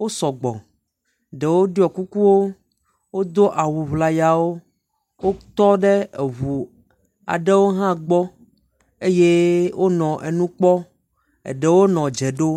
wosɔ gbɔ, ɖewo ɖɔ kukuwo, wodo awuŋlayawo. Wotɔ ɖe eŋu aɖewo hã gbɔ, eɖewo nɔ nu kpɔm eye eɖewo nɔ dze ɖom